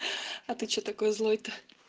а ты что такой злой то